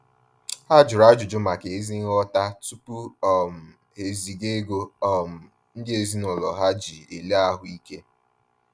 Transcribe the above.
Ha jụrụ ajụjụ maka ézí nghọta tupu um ha eziga ego um ndị ezinaụlọ ha ji ele ahuike